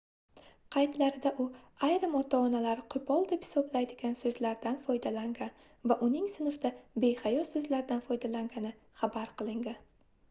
qaydlarida u ayrim ota-onalar qoʻpol deb hisoblaydigan soʻzlardan foydalangan va uning sinfda behayo soʻzlardan foydalangani xabar qilingan